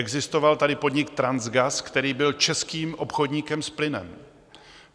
Existoval tady podnik Transgas, který byl českým obchodníkem s plynem.